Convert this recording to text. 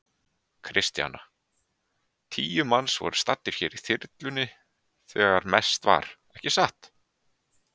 Kristjana: Tíu manns voru staddir hér í þyrlunni þegar mest var, ekki satt?